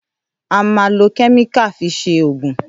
À mán lo kẹ́míkà fi sẹ ògún.